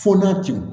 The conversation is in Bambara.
Fo na cɛw